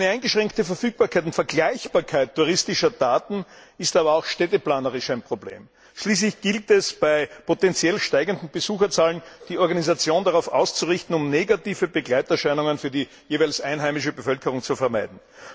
Eine eingeschränkte Verfügbarkeit und Vergleichbarkeit touristischer Daten ist aber auch städteplanerisch ein Problem. Schließlich gilt es bei potentiell steigenden Besucherzahlen, die Organisation darauf auszurichten, um negative Begleiterscheinungen für die jeweils einheimische Bevölkerung zu vermeiden.